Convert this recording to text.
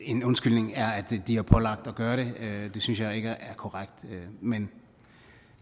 en undskyldning er at de var pålagt at gøre det det synes jeg ikke er korrekt men